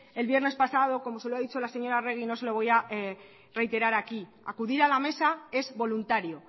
el viernes pasado como se lo ha dicho la señora arregi no se lo voy a reiterar aquí acudir a la mesa es voluntario